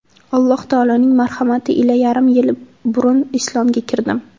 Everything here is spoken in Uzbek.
Alloh taoloning marhamati ila yarim yil burun islomga kirdim.